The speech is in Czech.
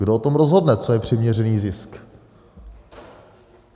Kdo o tom rozhodne, co je přiměřený zisk?